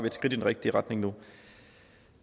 et skridt i den rigtige retning